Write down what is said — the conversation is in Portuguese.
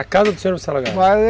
A casa do senhor vai se alagar? Vai.